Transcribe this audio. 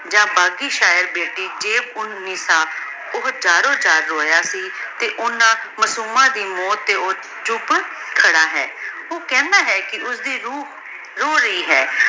ਯਾਨ ਬਾਕੀ ਸਾਹਿਬ ਬੇਟੀ ਜੈਬ ਉਨ ਨੀਸਾ ਊ ਅਰੋ ਜਾਰ ਰੋਯਾ ਸੀ ਤੇ ਓਹਨਾਂ ਮਾਸੂਮਾਂ ਦੀ ਮੋਉਤ ਤੇ ਊ ਚੁਪ ਖਾਰਾ ਹੈ ਊ ਕਹੰਦਾ ਹੈ ਕੇ ਓਸਦੀ ਰੂਹ ਰੋ ਰਹੀ ਹੈ